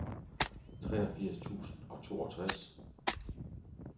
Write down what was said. treogfirs tusind og toogtres